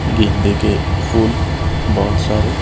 गेंदे के फूल बहुत सारे--